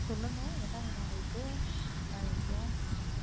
சொல்லுங்க என்ன வேணும் உங்களுக்கு என்ன விஷயம்?